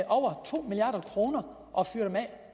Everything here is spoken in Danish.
over to milliard kroner